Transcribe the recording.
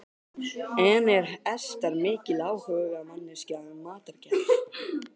En er Ester mikil áhugamanneskja um matargerð?